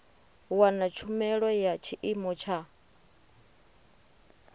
wana tshumelo ya tshiimo tsha